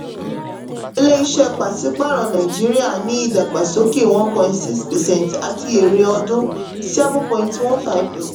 ilé-iṣẹ́ pàsí-pààrọ̀ nàìjíríà ní ìdàgbàsókè one point six percent àti èrè ọdún seven point one five